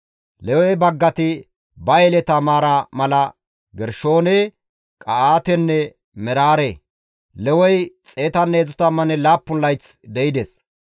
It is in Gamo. Lewe baggati ba yeleta maaraa mala Gershoone, Qa7aatenne Meraare. Lewey 137 layth de7ides.